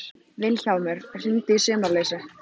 Vilhjálmur, hringdu í Sumarlausu.